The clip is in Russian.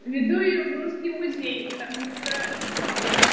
веду её в русский музей потому что